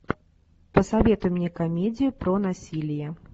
посоветуй мне комедию про насилие